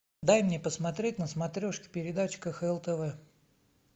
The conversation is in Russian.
дай мне посмотреть на смотрешке передачу кхл тв